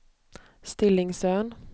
Stillingsön